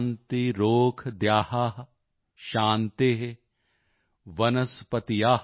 ਸ਼ਾਂਤੀਰੋਸ਼ਧਯ ਸ਼ਾਂਤੀ